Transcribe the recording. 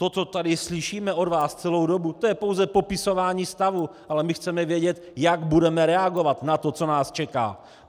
To, co tady slyšíme od vás celou dobu, to je pouze popisování stavu, ale my chceme vědět, jak budeme reagovat na to, co nás čeká.